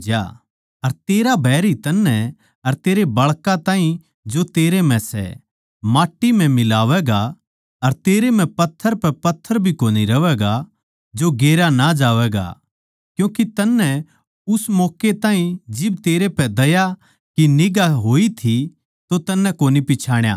अर तेरा बैरी तन्नै अर तेरे बाळकां ताहीं जो तेरै म्ह सै माट्टी म्ह मिलावैंगें अर तेरै म्ह पत्थर पै पत्थर भी कोनी रहवैगा जो गेरया ना जावैगा क्यूँके तन्नै उस मौक्के ताहीं जिब तेरै पै दया की निगांह होई थी तो तन्नै कोनी पिच्छाणा